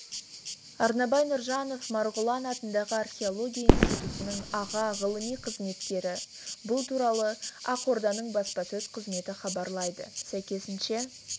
арнабай нұржанов марғұлан атындағы археология институтының аға ғылыми қызметкері бұл туралы ақорданың баспасөз қызметі хабарлайды сәйкесінше